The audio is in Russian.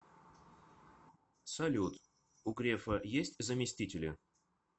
салют у грефа есть заместители